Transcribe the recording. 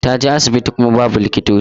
Ta je asibiti kuma babu likitoci.